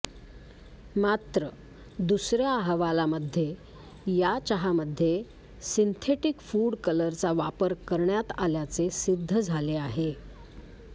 मात्र दुसऱ्या अहवालामध्ये या चहामध्ये सिंथेटिक फूड कलरचा वापर करण्यात आल्याचे सिद्ध झाले आहे